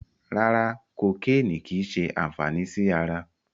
Rárá, kokéènì kìí ṣe àǹfàní sí ara.